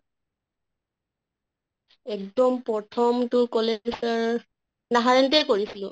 এক্দম প্ৰথম তো কʼলে sir নাহাৰণিতে কৰিছিলো